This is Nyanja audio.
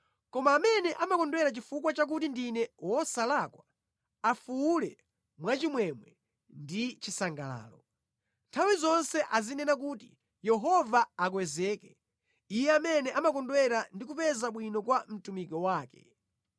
Koma amene amakondwera chifukwa chakuti ndine wosalakwa, afuwule mwachimwemwe ndi chisangalalo. Nthawi zonse azinena kuti, “Yehova akwezeke, Iye amene amakondwera ndi kupeza bwino kwa mtumiki wake.”